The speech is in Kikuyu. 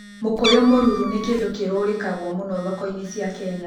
Mũkũyũ mũruru nĩ kĩndũ kĩrũrĩkagwo mũno thoko-inĩ cia Kenya.